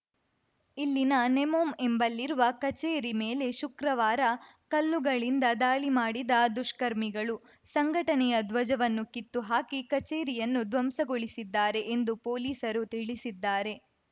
ಇಲ್ಲಿನ ನೆಮೋಮ್‌ ಎಂಬಲ್ಲಿರುವ ಕಚೇರಿ ಮೇಲೆ ಶುಕ್ರವಾರ ಕಲ್ಲುಗಳಿಂದ ದಾಳಿ ಮಾಡಿದ ದುಷ್ಕರ್ಮಿಗಳು ಸಂಘಟನೆಯ ಧ್ವಜವನ್ನು ಕಿತ್ತು ಹಾಕಿ ಕಚೇರಿಯನ್ನು ಧ್ವಂಸಗೊಳಿಸಿದ್ದಾರೆ ಎಂದು ಪೊಲೀಸರು ತಿಳಿಸಿದ್ದಾರೆ